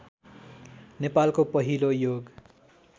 नेपालको पहिलो योग